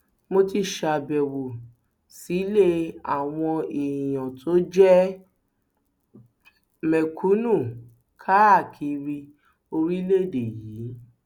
mo ti ṣàbẹwò sílé àwọn èèyàn tó jẹ mẹkúnnù káàkiri orílẹèdè yìí